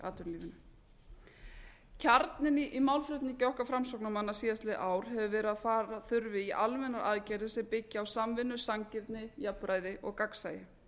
víðsvegar í atvinnulífinu kjarninn í málflutningi okkar framsóknarmanna síðastliðið ár hefur verið að fara þurfi í almennar aðgerðir sem byggja á samvinnu sanngirni jafnræði og gagnsæi